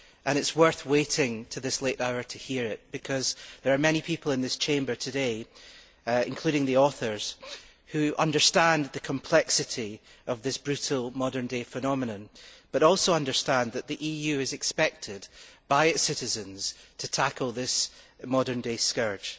It is worth waiting until this late hour to hear it, because there are many people in this Chamber today, including the authors, who understand the complexity of this brutal modern day phenomenon, but also understand that the EU is expected by its citizens to tackle this modern day scourge.